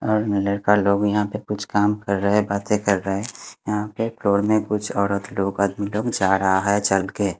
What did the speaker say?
और लड़का लोग यहां पे कुछ काम कर रहे बातें कर रहे यहां पे फ्लोर में कुछ औरत लोग जा रहा है चल के --